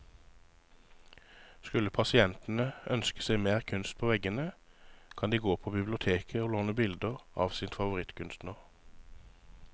Skulle pasientene ønske seg mer kunst på veggene, kan de gå på biblioteket å låne bilder av sin favorittkunstner.